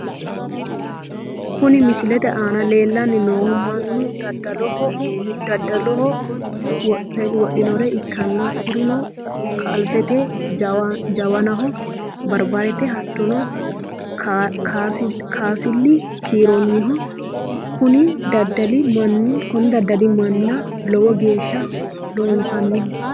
Kuni misilete aana leellanni noohu mannu daddaloho wodhinore ikkanna kurino kasalete jawanaho barbarete hattono kasali kiirranniho kuni daddali manna lowo geeshsha lossannoho.